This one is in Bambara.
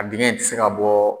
An dengɛ in tɛ se ka bɔ